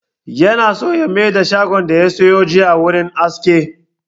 Yana so ya maida shagon da ya siyo jiya wurin aski